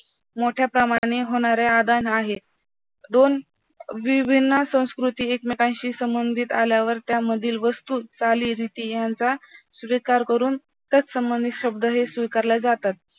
मोठ्या प्रमाणाने होणारे आदान आहे. दोन विभिन्न संस्कृती एकमेकांशी संबंधित आल्यावर त्यामधील वस्तू, चाली, रीती यांचा स्वीकार करून त्यासंबंधी शब्द हे स्वीकारले जातात